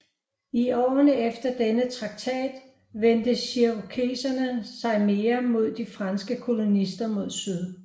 I årene efter denne traktat vendte cherokeserne sig mere mod de franske kolonister mod syd